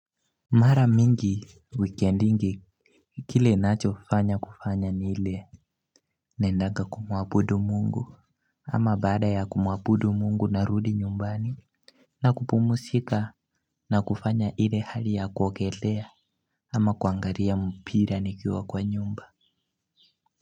Mara mingi wikendi kile ninacho fanya kufanya ni ile naendaga kumuabudu Mungu ama baada ya kumuabudu Mungu narudi nyumbani. Na kupumuzika na kufanya hile hali ya kuogelea ama kuangalia mpira nikiwa kwa nyumba.